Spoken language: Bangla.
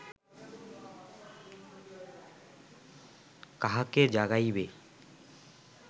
কাহাকে জাগাইবে